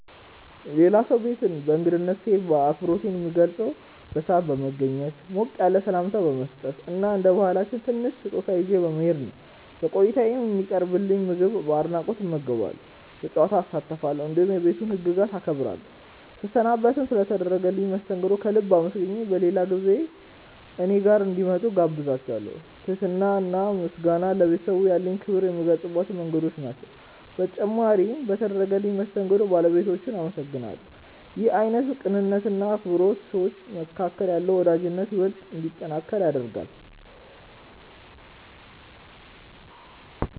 የሌላ ሰው ቤት በእንግድነት ስሄድ አክብሮቴን የምገልጸው በሰዓት በመገኘት፣ ሞቅ ያለ ሰላምታ በመስጠት እና እንደ ባህላችን ትንሽ ስጦታ ይዤ በመሄድ ነው። በቆይታዬም የሚቀርብልኝን ምግብ በአድናቆት እመገባለሁ፣ በጨዋታ እሳተፋለሁ፣ እንዲሁም የቤቱን ህግጋት አከብራለሁ። ስሰናበትም ስለ ተደረገልኝ መስተንግዶ ከልብ አመስግኜ በሌላ ጊዜ እኔ ጋር እንዲመጡ እጋብዛቸዋለው። ትህትና እና ምስጋና ለቤተሰቡ ያለኝን ክብር የምገልጽባቸው መንገዶች ናቸው። በተጨማሪም በተደረገልኝ መስተንግዶ ባለቤቶቹን አመሰግናለሁ። ይህ አይነቱ ቅንነት እና አክብሮት በሰዎች መካከል ያለውን ወዳጅነት ይበልጥ እንዲጠነክር ያደርጋል።